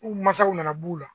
Ku mansaw nana b' uu la.